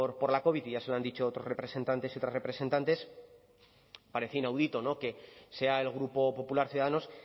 por la covid y ya se lo han dicho otros representantes y otras representantes parece inaudito que sea el grupo popular ciudadanos